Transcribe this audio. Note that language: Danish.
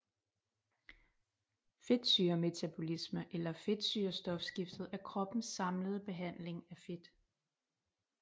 Fedtsyremetabolisme eller fedtsyrestofskiftet er kroppens samlede behandling af fedt